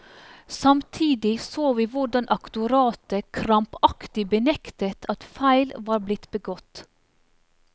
Samtidig så vi hvordan aktoratet krampaktig benektet at feil var blitt begått.